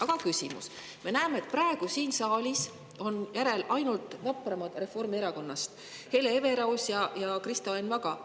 Aga me näeme, et praegu siin saalis on järel ainult vapramad Reformierakonnast: Hele Everaus ja Kristo Enn Vaga.